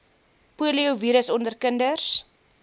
poliovirus onder kinders